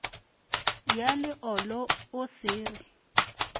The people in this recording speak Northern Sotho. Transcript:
ya leolo o se re